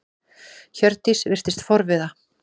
Hjördís virtist forviða.